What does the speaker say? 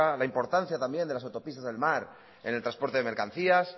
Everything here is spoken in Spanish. la importancia también de las autopistas del mar en el transporte de mercancías